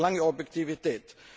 Und ich verlange Objektivität.